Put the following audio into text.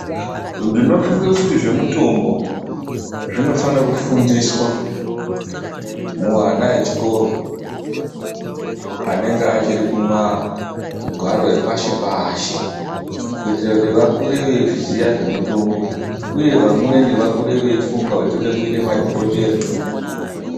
Ndinofunga kuti zvemutombo, zvinofane kufundiswa, muana echikoro anenge achiri mumagwaro epashi-pashi. Kuitire kuti vakure veizviziya zvemitombo, uye vamweni vakure veifunga kuti tode kuite madhokodheya.